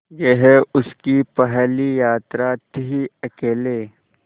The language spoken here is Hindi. यह उसकी पहली यात्रा थीअकेले